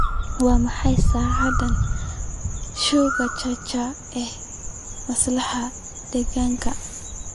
waa maxay saacadaha show Churchil ee masraxa deegaanka